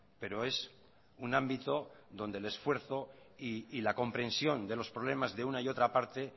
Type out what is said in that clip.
pero es un ámbito donde el esfuerzo y la comprensión de los problemas de una y otra parte